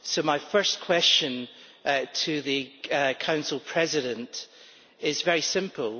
My first question to the Council President is very simple.